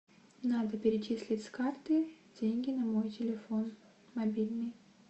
надо перечислить с карты деньги на мой телефон мобильный